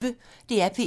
DR P1